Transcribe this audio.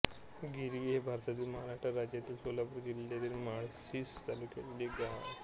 गिरावी हे भारतातील महाराष्ट्र राज्यातील सोलापूर जिल्ह्यातील माळशिरस तालुक्यातील एक गाव आहे